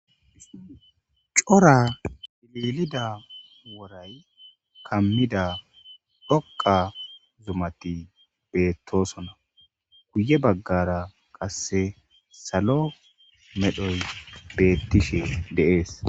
cora lilida woray kammida dhoqa zumati beettosona guye baggara qasse salo medhoy beettishe de'es